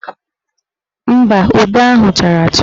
Mba, ube ahụ chara acha.